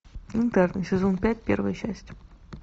интерны сезон пять первая часть